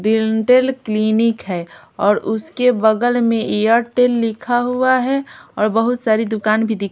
dental clinic है और उसके बगल में एयरटेल लिखा हुआ है और बहुत सारी दुकान भी दिख--